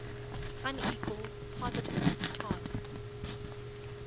unequal positive odd